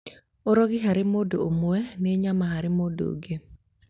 ũrogi harĩ mũndũ ũmwe nĩ nyama harĩ mũndũ ũrĩa ũngĩ